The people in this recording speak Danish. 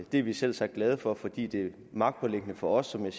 det er vi selvsagt glade for fordi det er magtpåliggende for os som jeg